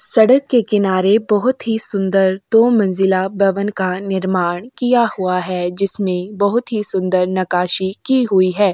सड़क के किनारे बहुत ही सुंदर दो मंजिला भवन का निर्माण किया हुआ है। जिसमें बहुत ही सुंदर नकाशि की हुई है।